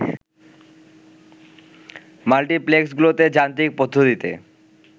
মাল্টিপ্লেক্সগুলোতে যান্ত্রিক পদ্ধতিতে